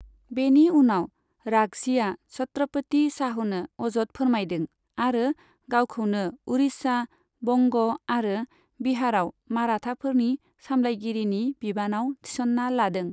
बेनि उनाव राघजिया छत्रपति शाहुनो अजद फोरमायदों, आरो गावखौनो उड़िशा, बंग आरो बिहारआव माराथाफोरनि सामलायगिरिनि बिबानाव थिसन्ना लादों।